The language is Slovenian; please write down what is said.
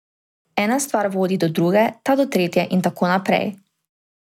Ena stvar vodi do druge, ta do tretje in tako naprej.